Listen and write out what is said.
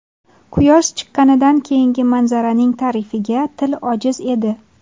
Quyosh chiqqanidan keyingi manzaraning ta’rifiga til ojiz edi.